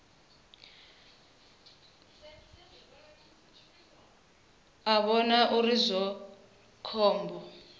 a vhona uri zwi khombo